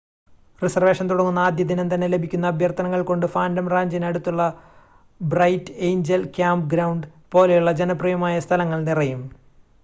reservation തുടങ്ങുന്ന ആദ്യ ദിനം തന്നെ ലഭിക്കുന്ന അഭ്യർത്ഥനകൾ കൊണ്ട് ഫാൻറ്റം റാഞ്ചിന് അടുത്തുള്ള ബ്രൈറ്റ് എയ്ഞ്ചൽ ക്യാമ്പ്ഗ്രൗണ്ട് പോലെയുള്ള ജനപ്രിയമായ സ്ഥലങ്ങൾ നിറയും